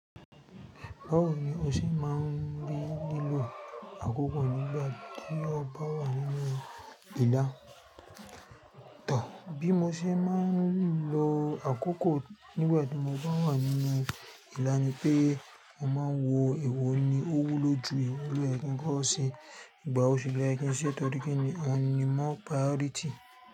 Báwo ni o ṣé má n bí lílo àkókò nígbà tí o bá wà nínú ìlà? Tò, bí mo ṣe má n lo àkókò nígbà tí mo bá wà nínú ìlà ni pé mo má n wo èwo ni ó wúlò jù èwo ló yẹ kí n kọ́ ṣe ìgbàwo sì ló yẹ kí n ṣe, èwo ni ọ́ ni more priority.